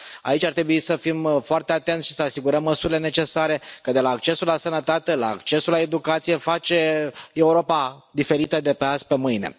Aici ar trebui să fim foarte atenți și să asigurăm măsurile necesare, căci accesul la sănătate, accesul la educație fac Europa diferită de azi pe mâine.